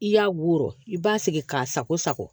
I y'a wɔrɔn i b'a sigi k'a sago sago